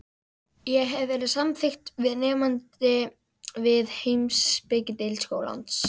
Ég hafði verið samþykkt sem nemandi við heimspekideild skólans.